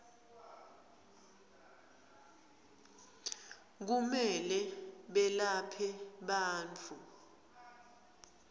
kumele belaphe bantfu